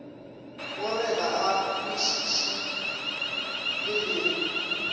o re ga a kwešišeleleme